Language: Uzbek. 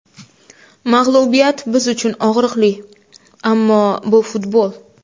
Mag‘lubiyat biz uchun og‘riqli, ammo bu futbol.